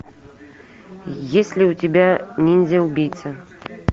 есть ли у тебя ниндзя убийца